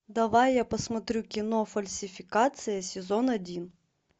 давай я посмотрю кино фальсификация сезон один